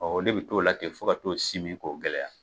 Ɔ qe bɛ t'o la ten fo ka t'o simin k"o gɛlɛya.